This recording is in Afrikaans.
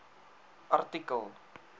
artikel